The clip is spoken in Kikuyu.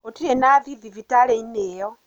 Gũtirĩ nathi thibitarĩ-inĩ ĩyo.